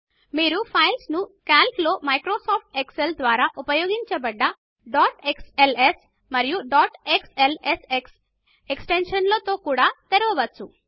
మీరు ఫైల్స్ ను కాలక్ లో మైక్రోసాఫ్ట్ ఎక్సెల్ ద్వారా ఉపయోగించబడ్డ డాట్ క్స్ఎల్ఎస్ మరియు డాట్ క్స్ఎల్ఎస్ఎక్స్ ఎక్స్ టెన్షన్లలో కూడా తెరవవచ్చు